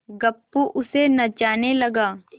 गप्पू उसे नचाने लगा